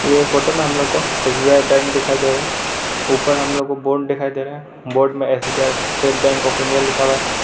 ये फोटो में हम लोग को एस बी आई बैंक दिखाई दे रहा है उपर हम लोग को बोर्ड दिखाई दे रहा है बोर्ड में S B I State Bank of India लिखा हुआ है।